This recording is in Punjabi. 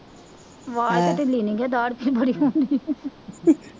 ਤਾਂ ਢਿੱਲੇ ਨਹੀਂ ਹੈਗੇ ਦਾੜ੍ਹ ਚ ਬੜੀ